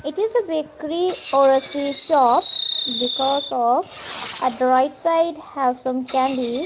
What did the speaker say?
it is a bakery or a sweet shop because of at the right side have some candy.